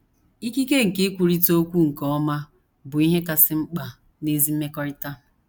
Ikike nke ikwurịta okwu nke ọma bụ ihe kasị mkpa n’ezi mmekọrịta.